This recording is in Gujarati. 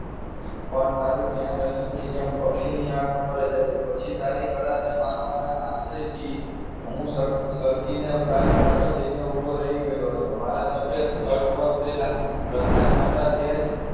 પણ તારું ધ્યાન અર્જુનની જેમ પક્ષી ની આંખ ઉપર હતું પછી તારી કળા ને માનવાના આશયથી હું સરકી ને તારી પાછળ જઈને ઊભો રહી ગયો મારા સફેદ શર્ટ પણ ઉડેલા રંગના છાંટા તે જ